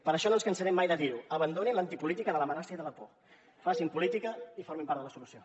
per això no ens cansarem mai de dir ho abandonin l’antipolítica de l’amenaça i de la por facin política i formin part de la solució